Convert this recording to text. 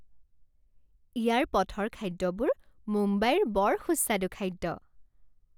ইয়াৰ পথৰ খাদ্যবোৰ মুম্বাইৰ বৰ সুস্বাদু খাদ্য।